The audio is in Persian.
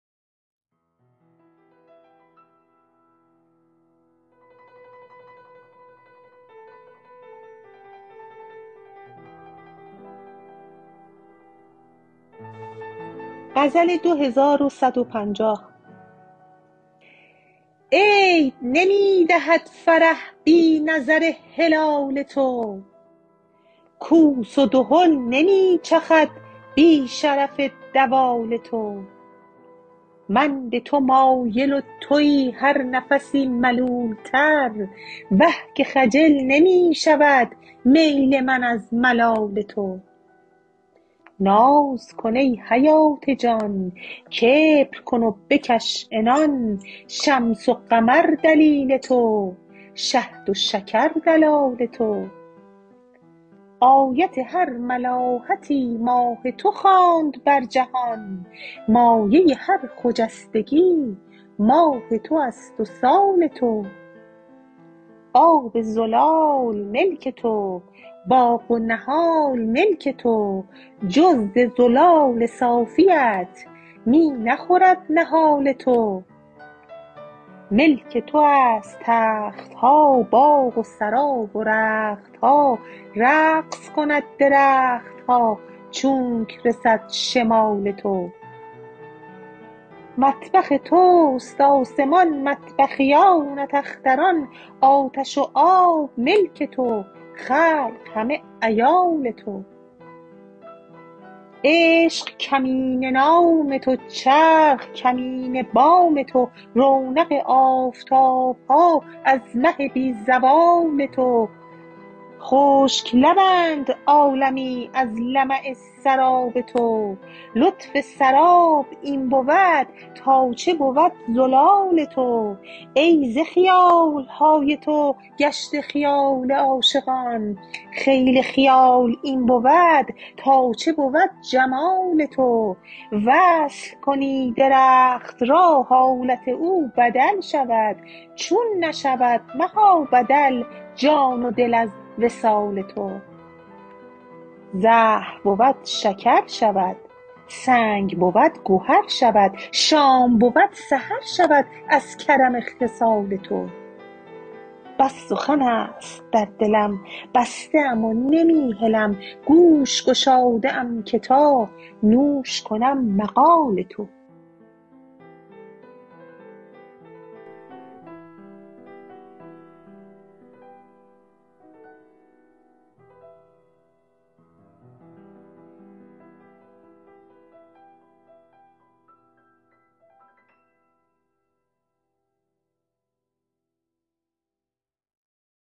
عید نمی دهد فرح بی نظر هلال تو کوس و دهل نمی چخد بی شرف دوال تو من به تو مایل و توی هر نفسی ملولتر وه که خجل نمی شود میل من از ملال تو ناز کن ای حیات جان کبر کن و بکش عنان شمس و قمر دلیل تو شهد و شکر دلال تو آیت هر ملاحتی ماه تو خواند بر جهان مایه هر خجستگی ماه تو است و سال تو آب زلال ملک تو باغ و نهال ملک تو جز ز زلال صافیت می نخورد نهال تو ملک تو است تخت ها باغ و سرا و رخت ها رقص کند درخت ها چونک رسد شمال تو مطبخ توست آسمان مطبخیانت اختران آتش و آب ملک تو خلق همه عیال تو عشق کمینه نام تو چرخ کمینه بام تو رونق آفتاب ها از مه بی زوال تو خشک لبند عالمی از لمع سراب تو لطف سراب این بود تا چه بود زلال تو ای ز خیال های تو گشته خیال عاشقان خیل خیال این بود تا چه بود جمال تو وصل کنی درخت را حالت او بدل شود چون نشود مها بدل جان و دل از وصال تو زهر بود شکر شود سنگ بود گهر شود شام بود سحر شود از کرم خصال تو بس سخن است در دلم بسته ام و نمی هلم گوش گشاده ام که تا نوش کنم مقال تو